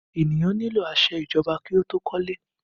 Ènìyàn nílò àṣẹ ìjọba kí ó tó kọ́ ilé